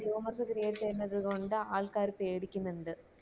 rumours create ചെയ്യുന്നത് കൊണ്ട് ആൾക്കാര് പേടിക്കിന്ന്ണ്ട്